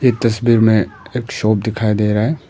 इस तस्वीर में एक शॉप दिखाई दे रहा है।